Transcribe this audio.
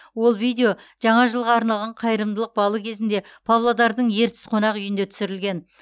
ол видео жаңа жылға арналған қайырымдылық балы кезінде павлодардың ертіс қонақ үйінде түсірілген